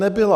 Nebyla.